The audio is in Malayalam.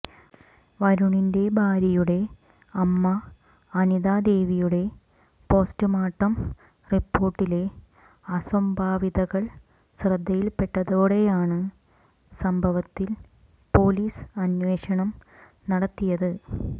വരുണിന്റെ ഭാര്യയുടെ അമ്മ അനിതാ ദേവിയുടെ പോസ്റ്റ്മോർട്ടം റിപ്പോർട്ടിലെ അസ്വാഭാവികതകൾ ശ്രദ്ധയിൽപ്പെട്ടതോടെയാണ് സംഭവത്തിൽ പൊലീസ് അന്വേഷണം നടത്തിയത്